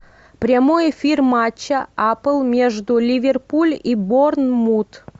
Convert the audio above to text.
прямой эфир матча апл между ливерпуль и борнмут